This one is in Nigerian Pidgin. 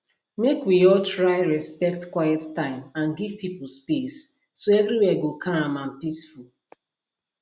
make we all try respect quiet time and give people space so everywhere go calm and peaceful